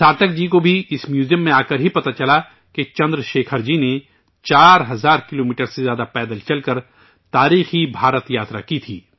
سارتھک جی کو بھی اس میوزیم میں آ کر ہی پتہ چلا کہ چندر شیکھر جی نے ۴ ہزار کلومیٹر سے زیادہ پیدل چل کر ہندوستان کا تاریخی سفر کیا تھا